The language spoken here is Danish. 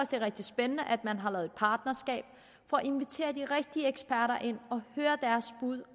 det er rigtig spændende at man har lavet et partnerskab for at invitere de rigtige eksperter ind og høre deres bud